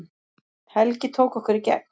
Helgi tók okkur í gegn